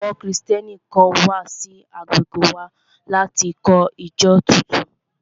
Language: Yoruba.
Àwọn Kristẹni kan wà sí agbègbè wa láti kọ́ ìjọ tuntun